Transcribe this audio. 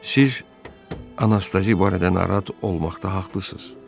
Siz Anastasi barədə narahat olmaqda haqlısız.